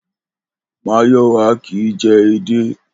Máyò̩wá kì í je̩ edé